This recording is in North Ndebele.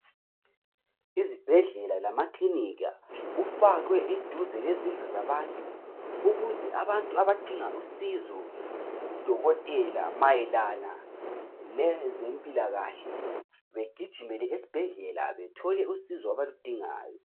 Izibhedlela lamakilinika kufakwe duae labantu ukuze abantu abadinga usizo kudokotela mayelana lezempilakahle begijimele esibhedlela bethole usizo abaludingayo.